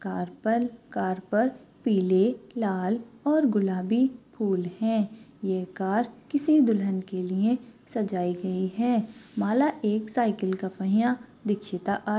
car पर car पर पीले लाल और गुलाबी फूल है ये कार किसी दुल्हन के लिए सजाई गयी है मला एक साइकल का पहिया दिक्षिता आ--